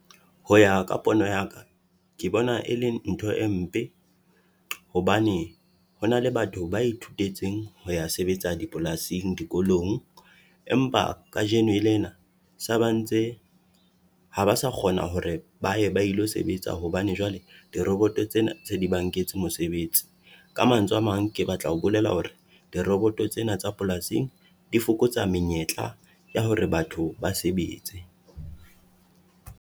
Ho ya ka pono ya ka, ke bona e leng ntho e mpe hobane hona le batho ba ithutetseng ho ya sebetsa dipolasing dikolong. Empa kajeno lena sa ba ntse ha ba sa kgona hore ba ye ba ilo sebetsa hobane jwale diroboto tsena tse di ba nketse mosebetsi. Ka mantswe a mang, ke batla ho bolela hore diroboto tsena tsa polasing di fokotsa menyetla ya hore batho ba sebetse.